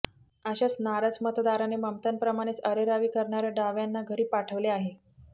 अशाच नाराज मतदाराने ममतांप्रमाणेच अरेरावी करणाऱया डाव्यांना घरी पाठवले आहे